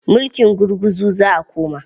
Mulking gurguzu za a koma.